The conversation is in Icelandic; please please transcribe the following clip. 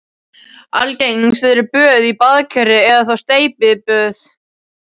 Algengust eru böð í baðkeri eða þá steypiböð.